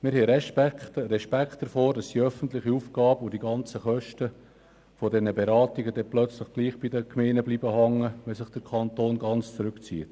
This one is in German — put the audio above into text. Wir befürchten, die öffentliche Aufgabe und die ganzen Kosten der Beratungen könnten plötzlich doch an den Gemeinden hängen bleiben, wenn sich der Kanton ganz zurückzieht.